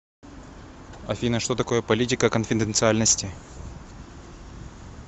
афина что такое политика конфиденциальности